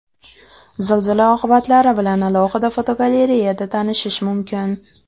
Zilzila oqibatlari bilan alohida fotogalereyada tanishish mumkin .